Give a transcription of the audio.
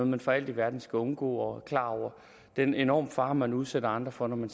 man for alt i verden skal undgå klar over den enorme fare som man udsætter andre for når man